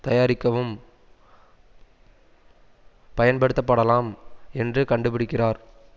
தயாரிக்கவும் பயன்படுத்தப்படலாம் என்று கண்டுபிடிக்கிறார்